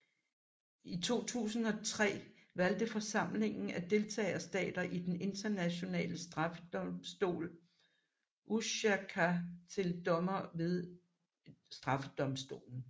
I 2003 valgte forsamlingen af deltagerstater i Den Internationale Straffedomstol Ušacka til dommer ved straffedomstolen